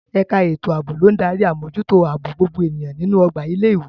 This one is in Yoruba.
Ẹ̀ka ètò ààbò ló ń darí àmójútó ààbò gbogbo ènìyàn nínú ọgbà ilé ìwé.